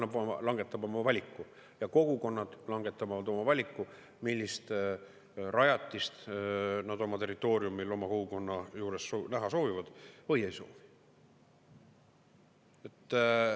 Turg langetab oma valiku ja kogukonnad langetavad oma valiku, millist rajatist nad oma territooriumil oma kogukonna juures näha soovivad või ei soovi.